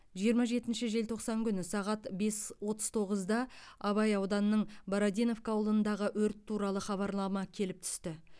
жиырма жетінші желтоқсан күні сағат бес отыз тоғызда абай ауданының бородиновка ауылындағы өрт туралы хабарлама келіп түсті